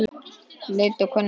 Leit og könnun